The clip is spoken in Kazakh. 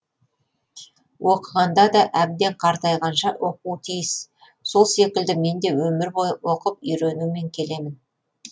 оқығанда да әбден қартайғанша оқуы тиіс сол секілді мен де өмір бойы оқып үйренумен келемін